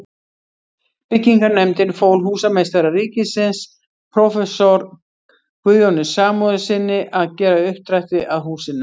Byggingarnefndin fól húsameistara ríkisins, próf. Guðjóni Samúelssyni, að gera uppdrætti að húsinu.